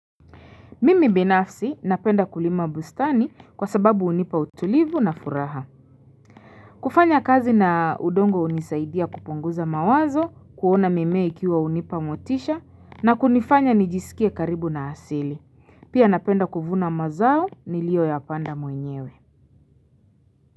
Mimi binafsi napenda kulima bustani kwa sababu unipa utulivu na furaha. Kufanya kazi na udongo unisaidia kupunguza mawazo, kuona mimea ikiwa unipa motisha na kunifanya nijisikie karibu na asili. Pia napenda kuvuna mazao niliyo ya panda mwenyewe.